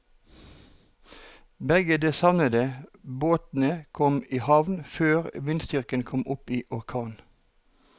Begge de savnede båtene kom i havn før vindstyrken kom opp i orkan.